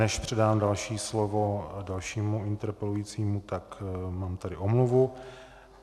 Než předám další slovo dalšímu interpelujícímu, tak mám tady omluvu.